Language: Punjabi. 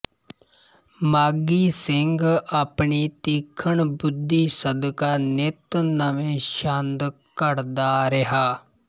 ਮਾਘੀ ਸਿੰਘ ਆਪਣੀ ਤੀਖਣ ਬੁੱਧੀ ਸਦਕਾ ਨਿੱਤ ਨਵੇਂ ਛੰਦ ਘੜਦਾ ਰਿਹਾ